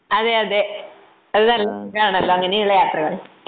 അതെ അതെ അത് നല്ല സുഖമാണല്ലോ അങ്ങനെയുള്ള യാത്രകൾ.